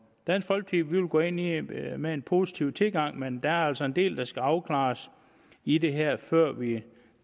dansk folkeparti vil gå ind i det med en positiv tilgang men der er altså en del der skal afklares i det her før vi